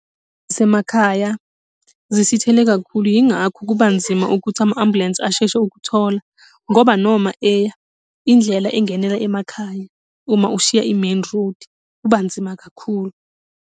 Zasemakhaya, zisithele kakhulu yingakho kubanzima ukuthi ama-ambulensi asheshe ukuthola, ngoba noma eya, indlela engenela emakhaya uma ushiya i-main road, kuba nzima kakhulu.